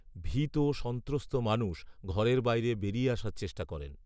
ভীত সন্ত্রস্ত মানুষ ঘরের বাইরে বেরিয়ে আসার চেষ্টা করেন